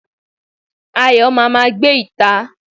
Ayo máa gbé ìta